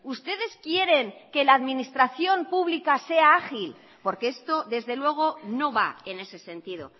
ustedes quieren que la administración pública sea ágil porque esto desde luego no va en ese sentido